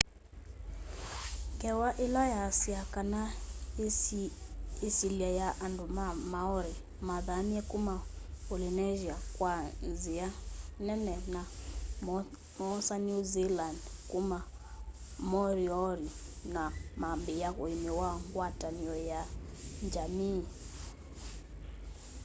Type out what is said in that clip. ngewa ila yaasya kana yisilya ya andu ma maori mathamie kuma polynesia kwa nzia nene na moosa new zealand kuma moriori na mambiia uimi wa ngwatanio ya njamii